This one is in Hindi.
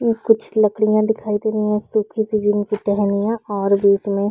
और कुछ लकड़ियाँ दिखाई दे रही है सुखी- सी जिनकी टहनियाँ और बीच में --